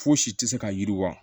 Fosi tɛ se ka yiriwa